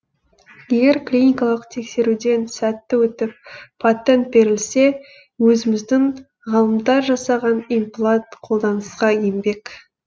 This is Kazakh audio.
егер клиникалық тексеруден сәтті өтіп патент берілсе өзіміздің ғалымдар жасаған имплант қолданысқа енбек